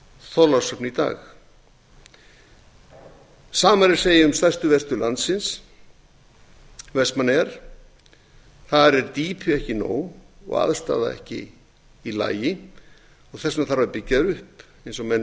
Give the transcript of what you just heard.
þorlákshöfn í dag hið sama er að segja um stærstu verstöð landsins vestmannaeyjar þar er dýpi ekki nóg og aðstaða ekki í lagi og þess vegna þarf að byggja það upp eins og menn